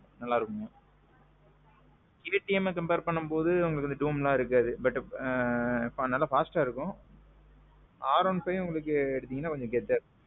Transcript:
நல்லா இருக்குங்க. KTMஅ compare பண்ணுன்போது உங்களுக்கு dome எல்லாம் இருக்காது. ஆனா நல்லா fastஅ இருக்கும். R one five நீங்க எடுத்தீங்கனா உங்களுக்கு கெத்தா இருக்கும்.